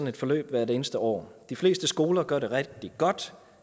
et forløb hvert eneste år de fleste skoler gør det rigtig godt